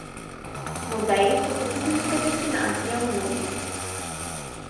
Muzeji so počitniška destinacija mnogih.